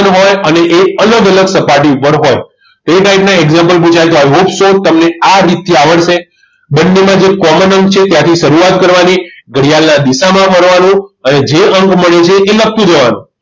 હોય અને એ અલગ અલગ સપાટી ઉપર હોય તો એ type ના example પુછાય તો i hope so તમને આ રીતથી આવડશે બંનેમાં જે common અંક છે ત્યાંથી શરૂઆત કરવાની ઘડિયાળના દિશામાં ફરવાનું અને જે અંક મળે છે એ લખી દેવાનું